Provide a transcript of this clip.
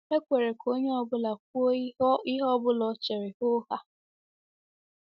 E kwere ka onye ọ bụla kwuo ihe ọ bụla o chere hoo haa.